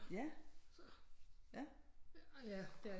Ja ja